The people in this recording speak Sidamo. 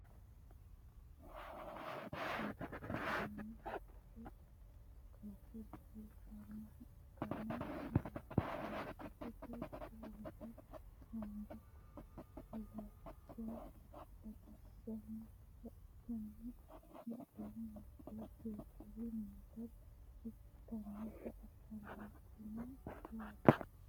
duuchu daninni haqqete kaashsho lossinanniha ikkanna laastikete giddo worre haanja latishsha batinsanni gara ikkasinna badheseenni hige duuhcuri noota ikitinota anfannite yaate